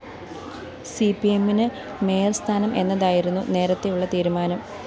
CP എമ്മിന് മേയര്‍സ്ഥാനം എന്നതായിരുന്നു നേരത്തെയുള്ള തീരുമാനം